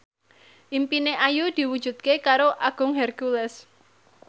impine Ayu diwujudke karo Agung Hercules